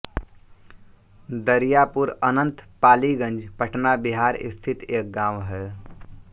दरियापुरअनंत पालीगंज पटना बिहार स्थित एक गाँव है